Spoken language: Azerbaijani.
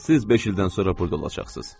Siz beş ildən sonra burda olacaqsınız.